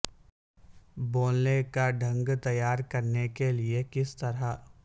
بولنے کا ڑھنگ تیار کرنے کے لئے کس طرح